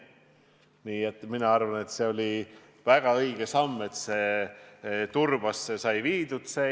Nii et mina arvan, et see oli väga õige samm, et see Turbasse sai viidud.